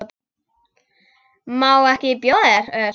Má ekki bjóða þér öl?